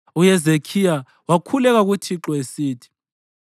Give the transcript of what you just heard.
UHezekhiya wakhuleka kuThixo esithi: